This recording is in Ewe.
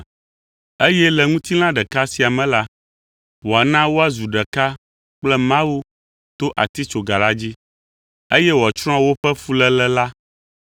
eye le ŋutilã ɖeka sia me la, wòana woazu ɖeka kple Mawu to atitsoga la dzi, eye wòatsrɔ̃ woƒe fuléle la.